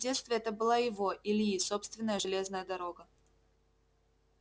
в детстве это была его ильи собственная железная дорога